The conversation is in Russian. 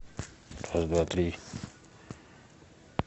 раз два три